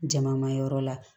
Jama ma yɔrɔ la